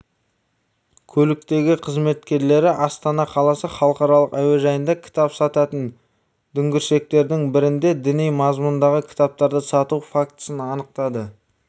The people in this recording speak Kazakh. көліктегі қызметкерлері астана қаласы халықаралық әуежайында кітап сататын дүңгіршектердің бірінде діни мазмұндағы кітаптарды сату фактісін анықтады